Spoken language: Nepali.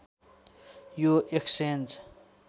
यो एक्सचेन्ज